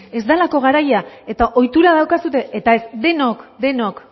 ez delako garaia eta ohitura daukazue eta ez denok denok